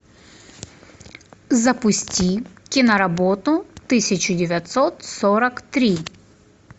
запусти киноработу тысяча девятьсот сорок три